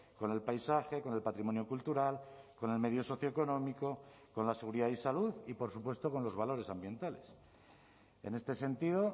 con el paisaje con el patrimonio cultural con el medio socioeconómico con la seguridad y salud y por supuesto con los valores ambientales en este sentido